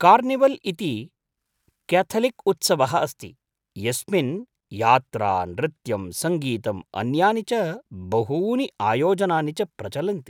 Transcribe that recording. Carnival इति क्याथलिक्उत्सवः अस्ति, यस्मिन् यात्रा, नृत्यं, सङ्गीतं, अन्यानि च बहूनि आयोजनानि च प्रचलन्ति।